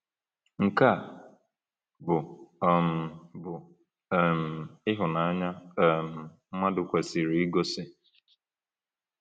Nke a bụ um bụ um ịhụnanya um mmadụ kwesịrị igosi.